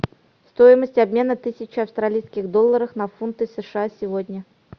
стоимость обмена тысячи австралийских долларов на фунты сша сегодня